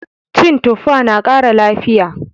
Cin tuffa na kara lafiya